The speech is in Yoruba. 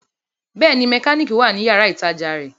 Bẹ́ẹ̀ni, mẹkánìkì wà ní yàrá-ìtajà rẹ̀